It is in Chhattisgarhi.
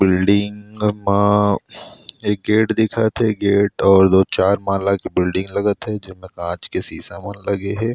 बिल्डिंग मा एक गेट दिखत थे गेट और दो चार माला के बिल्डिंग लगत थे जिमे कांच के शीशा लगे हे।